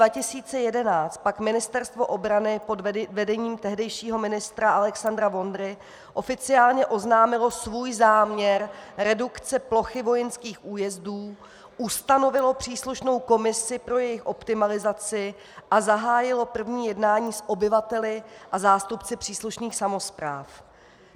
V roce 2011 pak Ministerstvo obrany pod vedením tehdejšího ministra Alexandra Vondry oficiálně oznámilo svůj záměr redukce plochy vojenských újezdů, ustanovilo příslušnou komisi pro jejich optimalizaci a zahájilo první jednání s obyvateli a zástupci příslušných samospráv.